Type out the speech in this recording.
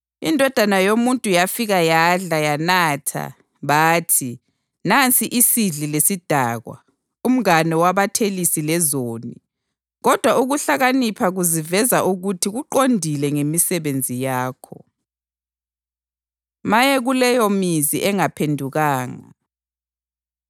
INdodana yoMuntu yafika yadla, yanatha, bathi, ‘Nansi isidli lesidakwa, umngane wabathelisi lezoni.’ Kodwa, ukuhlakanipha kuziveza ukuthi kuqondile ngemisebenzi yakho.” Maye Kuleyomizi Engaphendukanga